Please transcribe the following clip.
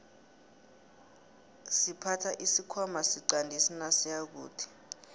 siphatha isikhwana siqandisi nasiyakude